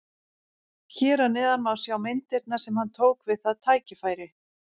Hér að neðan má sjá myndirnar sem hann tók við það tækifæri.